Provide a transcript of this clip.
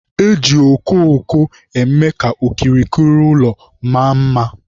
Eji okooko eme ka okirikiri ụlọ maa mma